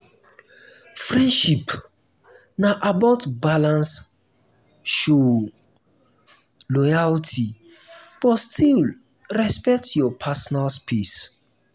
friendship na about balance show um loyalty but still respect your personal space.